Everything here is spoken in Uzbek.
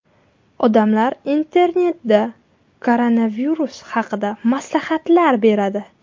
Odamlar Internetda koronavirus haqida maslahatlar beradi.